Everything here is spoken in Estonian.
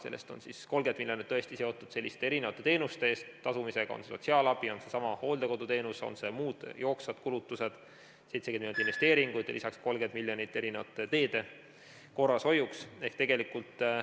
Sellest on 30 miljonit seotud erinevate teenuste eest tasumisega, on see sotsiaalabi, on see seesama hooldekoduteenus, on need muud jooksvad kulutused, 70 miljonit on investeeringuteks ja lisaks 30 miljonit erinevate teede korrashoiuks.